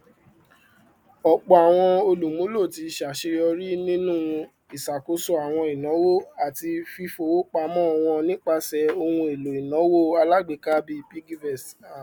ọpọ àwọn olùmúlò ti ṣàṣeyọrí nínú ìṣàkóso àwọn ináwó àti fífọwó pamọ wọn nípasẹ ohunèlò ináwó alágbèéká bíi piggyvest